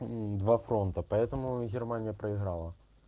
два фронта поэтому и германия проиграла